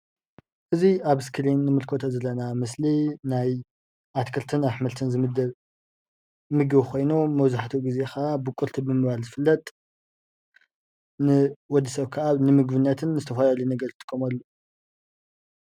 እዚ ኣብ እስክሪን ንምልከቶ ዘለና ምስሊ ናይ ኣትክልትን ኣሕምልትን ዝምደብ ምግቢ ኮይኑ መብዛሕቲኡ ግዜ ከዓ ቡቅልቲ ብምባል ዝፍለጥ ንወድሰብ ከዓ ንምግብነትን ንዝተፈላለዩ ነገር ዝጥቀመሉ እዩ፡፡